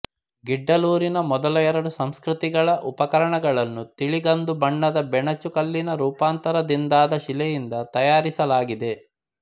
ಗಿಡ್ಡಲೂರಿನ ಮೊದಲ ಎರಡು ಸಂಸ್ಕೃತಿಗಳ ಉಪಕರಣಗಳನ್ನು ತಿಳಿಗಂದು ಬಣ್ಣದ ಬೆಣಚು ಕಲ್ಲಿನ ರೂಪಾಂತರ ದಿಂದಾದ ಶಿಲೆಯಿಂದ ತಯಾರಿಸಲಾಗಿದೆ